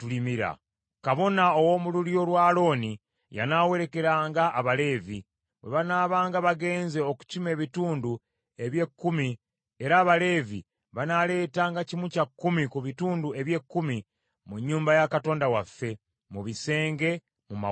Kabona, ow’omu lulyo lwa Alooni, yanaawerekeranga abaleevi, bwe banaabanga bagenze okukima ebitundu eby’ekkumi, era Abaleevi banaaleetanga kimu kya kkumi ku bitundu eby’ekkumi mu nnyumba ya Katonda waffe, mu bisenge, mu mawanika.